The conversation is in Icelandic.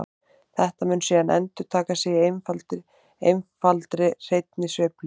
þetta mun síðan endurtaka sig í einfaldri hreinni sveiflu